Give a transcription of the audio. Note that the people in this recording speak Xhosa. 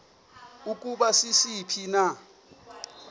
ukuba sisiphi na